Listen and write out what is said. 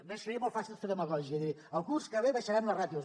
a més seria molt fàcil fer demagògia i dir el curs que ve abaixarem les ràtios